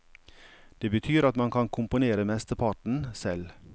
Det betyr at man kan komponere mesteparten selv.